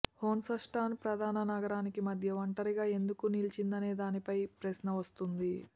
హొన్స్టన్ ప్రధాన నగరాల మధ్య ఒంటరిగా ఎందుకు నిలిచిందనే దానిపై ఈ ప్రశ్న వస్తుంది